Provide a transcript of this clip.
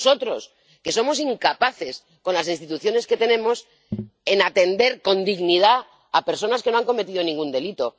Y en nosotros, que somos incapaces, con las instituciones que tenemos, de atender con dignidad a personas que no han cometido ningún delito.